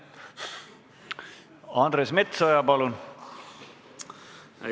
Andres Metsoja, palun!